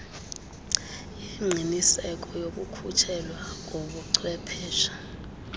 yengqiniseko yokukhutshelwa kobuchwephesha